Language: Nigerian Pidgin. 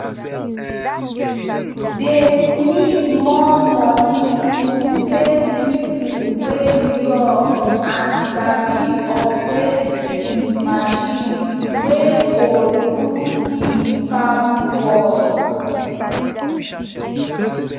dey need more moni to pay pipo wey young and sabi operate de marchin wey go do de farm work